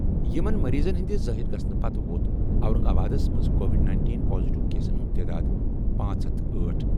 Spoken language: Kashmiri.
یِمَن مٔریٖضَن ہِنٛدِ ظٲہِر گژھنہٕ پتہٕ ووت اورنگ آبادَس منٛز کووِڈ-19 پازیٹیو کیسَن ہُنٛد تعداد پانژھ ہتھ أٹھ۔